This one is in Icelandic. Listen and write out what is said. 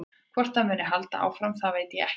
Hvort það muni halda áfram það veit ég ekkert um.